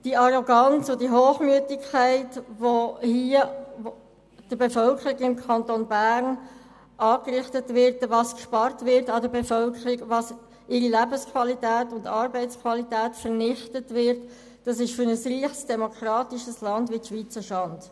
Die Arroganz und Hochmüdigkeit, die hier gegenüber der Bevölkerung des Kantons Bern zutage tritt, wie an der Bevölkerung gespart wird und wie viel Lebens- und Arbeitsqualität vernichtet wird, ist für ein reiches demokratisches Land wie die Schweiz eine Schande.